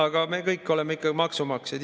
Aga me kõik oleme ikkagi maksumaksjad.